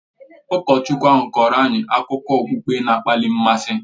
Ụkọchukwu ahụ kọọrọ anyị akụkọ okpukpe na-akpali mmasị